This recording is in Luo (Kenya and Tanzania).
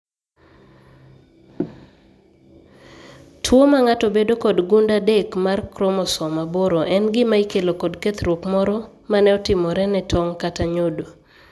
Tuo mang'ato bedo kod gund adek mar kromosom aboro en gima ikelo kod kethruok moro ma ne otimore ne tong' kata nyodo.